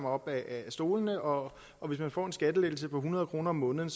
op af stolene og og hvis man får en skattelettelse på hundrede kroner om måneden